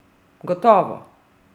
Gotovo!